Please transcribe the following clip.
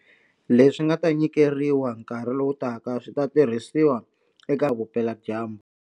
Leswi nga ta nyikeriwa nkarhi lowutaka swi ta tirhisiwa eka miako ya le Kapa-Vupeladyambu.